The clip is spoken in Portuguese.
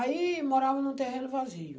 Aí, morava num terreno vazio.